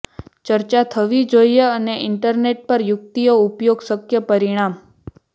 ચર્ચા થવી જોઈએ અને ઇન્ટરનેટ પર યુક્તિઓ ઉપયોગ શક્ય પરિણામ